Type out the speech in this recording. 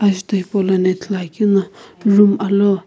ajutho hipaulono ithuluakeu no room alou.